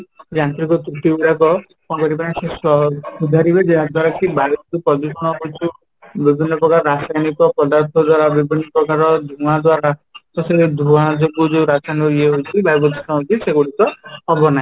ଯାନ୍ତ୍ରିକ ତ୍ରୁଟି ଗୁଡାକୁ କ'ଣ କରିବେ ନା ସେ ସୁଧାରିବେ ଯାହାଦ୍ୱାରା କି ବାୟୁ ଯୋଉ ପ୍ରଦୂଷଣ ହଉଛି ବିଭିନ୍ନ ପ୍ରକାର ରାସାୟନିକ ପଦାର୍ଥ ଦ୍ୱାରା ବିଭିନ୍ନ ପ୍ରକାର ଧୂଆଁ ଦ୍ୱାରା ତ ସେ ଧୂଆଁ ଯୋଗୁଁ ଯୋଉ ରାସୟାନିକ ଇୟେ ହଉଛି ବାୟୁ ପ୍ରଦୂଷଣ ହଉଛି ସେଗୁଡିକ ହବ ନାହିଁ